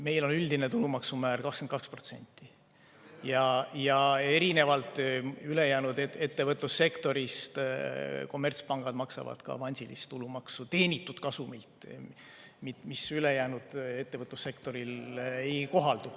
Meil on üldine tulumaksumäär 22% ja erinevalt ülejäänud ettevõtlussektorist maksavad kommertspangad ka avansilist tulumaksu teenitud kasumilt, mis ülejäänud ettevõtlussektorile ei kohaldu.